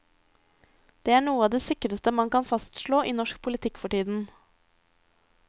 Det er noe av det sikreste man kan fastslå i norsk politikk for tiden.